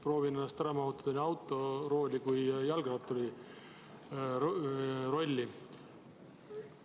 Proovin ennast ära mahutada nii autorooli kui ka jalgratturi rolli.